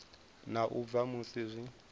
na u bva musi zwi